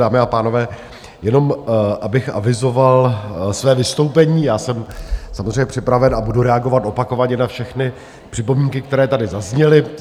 Dámy a pánové, jenom abych avizoval své vystoupení, já jsem samozřejmě připraven a budu reagovat opakovaně na všechny připomínky, které tady zazněly.